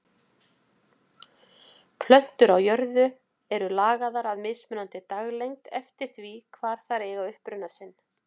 Plöntur á jörðu eru lagaðar að mismunandi daglengd eftir því hvar þær eiga uppruna sinn.